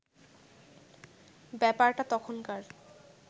ব্যাপারটা তখনকার